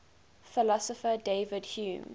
philosopher david hume